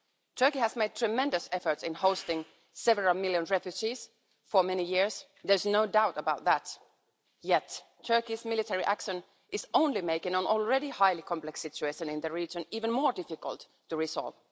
Turkey has made tremendous efforts in hosting several million refugees for many years there's no doubt about that yet Turkey's military action is only making an already highly complex situation in the region even more difficult to resolve.